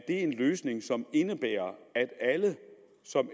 en løsning som indebærer at alle som